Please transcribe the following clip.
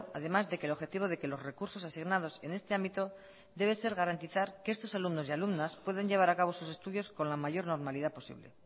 además de que el objetivo de que los recursos asignados en este ámbito debe de ser garantizar que estos alumnos y alumnas puedan llevar a cabo sus estudios con la mayor normalidad posible